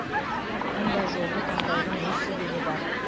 мұндай жолды таңдаудың өз себебі бар